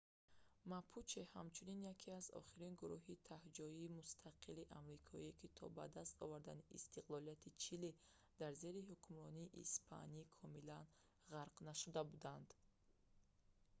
мапуче ҳамчунин яке аз охирон гуруҳи таҳҷоии мустақили амрикоӣ ки то ба даст овардани истиқлолияти чили дар зери ҳукмронии испанӣ комилан ғарқ нашуда буданд